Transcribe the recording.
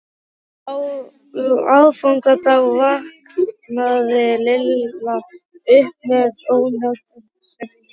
Á aðfangadag vaknaði Lilla upp með ónotakennd í maganum.